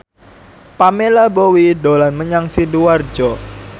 Pamela Bowie dolan menyang Sidoarjo